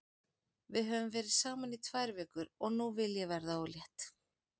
Við höfum verið saman í tvær vikur og nú vil ég verða ólétt.